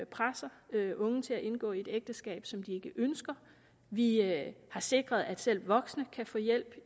presser unge til at indgå i et ægteskab som de ikke ønsker vi har sikret at selv voksne kan få hjælp